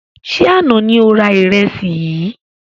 Ṣé àna ni o rà ìrẹsì yìí?